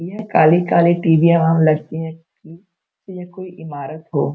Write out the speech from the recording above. यह काली-काली टीवीयाँ वहाँ लटकीं हैं की ये कोई ईमारत हो।